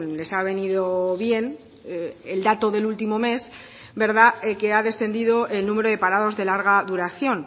les ha venido bien el dato del último mes que ha descendido el número de parados de larga duración